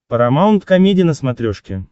парамаунт комеди на смотрешке